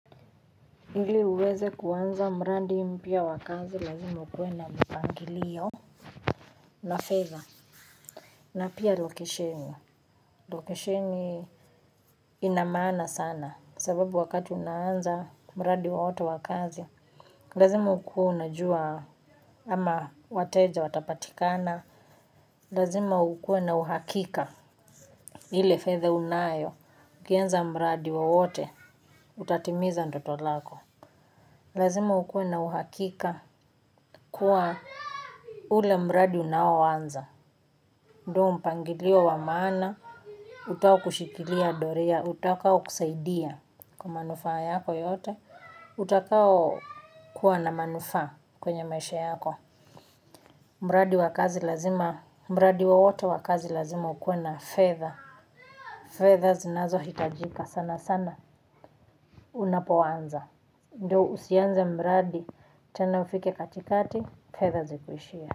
Ili uweze kuanza mradi mpya wa kazi lazima ukuwe na mpangilio na fedha pia lokeshen, lokesheni ina maana sana, kwa sababu wakati unaanza mradi wowote wa kazi, lazima ukue unajua ama wateja watapatikana, lazima ukuwe na uhakika, ile fedha unayo, ukianza mradi wowote, utatimiza ndoto zako. Lazima ukuwe na uhakika kuwa ule mradi unaoanza. Ndo mpangilio wa maana, utaokushikilia doria, utakao kusaidia kwa manufaa yako yote, utakao kuwa na manufaa kwenye maisha yako. Mradi wa kazi lazima, mradi wowote wakazi lazima ukue na fedha. Fedha zinazohitajika sana sana unapoanza. Ndo usianza mradi, tena ufike katikati, fedha zikuishie.